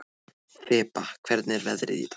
Þeba, hvernig er veðrið í dag?